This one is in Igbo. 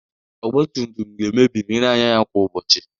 Ọgba tum tum ga-emebi ma ị na-anya ya kwa ụbọchị.